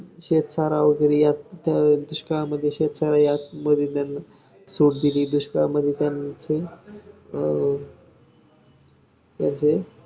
त्यांना पण याच्यामध्ये involve करूया त्यांना विषय कुठून सांगू यात ण सांगूया तुम्हाला त्यांची मदत होईल तुमची पण त्यांना मदत होईल even वीस ते एकवीस महिन्यात या group ला जोडून जातील.